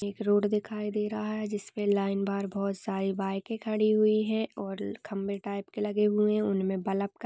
road दिखाई दे रहा है जिसपे लाइन बार बहुत सारी बाइके खड़ी हुई है और खंबे टाइप के लगे हुए है उन में बल्ब--